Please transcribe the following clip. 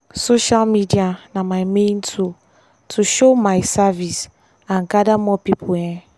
social media na my main tool to show my service and gather more people. um